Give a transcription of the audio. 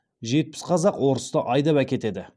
жетпіс қазақ орысты айдап әкетеді